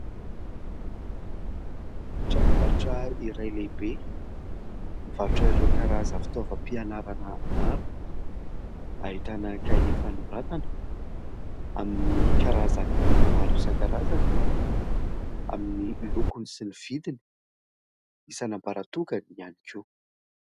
Tranom-barotra iray lehibe, mivarotra ireo karazana fitaovam-pianarana maro : ahitana kahie fanoratana amin'ny karazany maro isan-karazany, amin'ny lokony sy ny vidiny isan'ambaratongany ihany koa.